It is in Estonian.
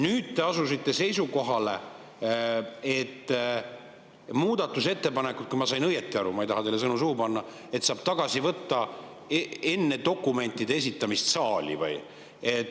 Nüüd te asusite seisukohale, et muudatusettepanekuid – kui ma sain õigesti aru, ma ei taha teile sõnu suhu panna – saab tagasi võtta enne dokumentide esitamist saali.